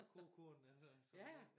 Kogekone altså